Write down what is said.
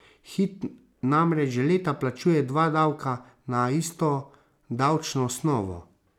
Hit namreč že leta plačuje dva davka na isto davčno osnovo.